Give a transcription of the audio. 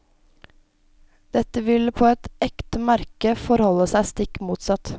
Dette ville på et ekte merke forholde seg stikk motsatt.